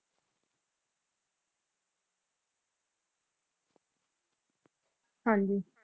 ਹਾਂਜੀ